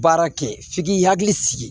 Baara kɛ f'i k'i hakili sigi